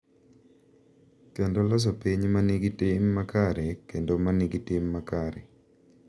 Kendo loso piny ma nigi tim makare kendo ma nigi tim makare.